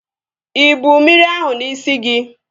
Ịbu mmiri ahụ n'isi gị?